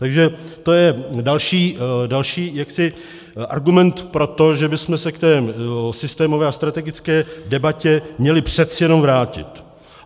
Takže to je další argument pro to, že bychom se k té systémové a strategické debatě měli přeci jenom vrátit.